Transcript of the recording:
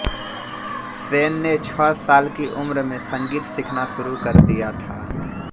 सेन ने छह साल की उम्र में संगीत सीखना शुरू कर दिया था